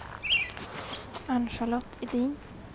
Ann-Charlotte Edin